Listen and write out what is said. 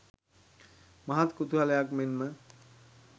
මහත් කුතුහලයක් මෙන් ම